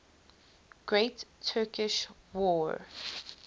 great turkish war